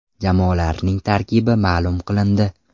Jamoalarning tarkibi ma’lum qilindi.